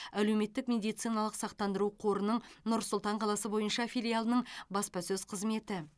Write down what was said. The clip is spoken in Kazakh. әлеуметтік медициналық сақтандыру қорының нұр сұлтан қаласы бойынша филиалының баспасөз қызметі